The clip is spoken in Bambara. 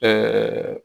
Ɛɛ